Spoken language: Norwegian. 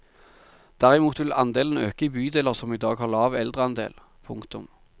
Derimot vil andelen øke i bydeler som i dag har lav eldreandel. punktum